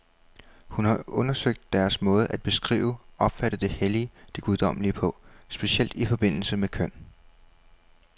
Hun har undersøgt deres måde at beskrive, opfatte det hellige, det guddommelige på, specielt i forbindelse med køn.